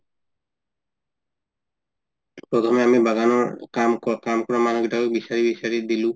এনেকুৱা ধৰণে আমি বাগানৰ কাম কাম কৰা মানুহ কেইটাকো বিচাৰি বিচাৰি দিলো